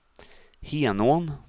Henån